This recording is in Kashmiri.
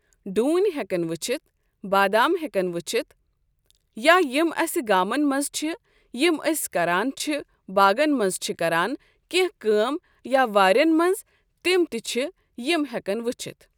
ڈوٗنۍ ہیٚکن وُچھتھ بادَم ہیٚکن وُچھتھ یا یِم اَسہِ گامَن منٛز چھِ یم أسۍ کران چھِ باغن منٛز چھِ کران کیٛنٚہہ کٲم یا وارٮ۪ن منٛز تِم تہِ چھِ یم ہیٚکن وُچھتھ ۔